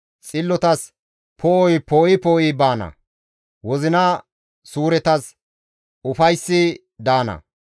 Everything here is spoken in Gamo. Xillotas poo7oy poo7i poo7i baana; wozina suuretas ufayssi daana.